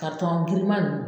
giriman nn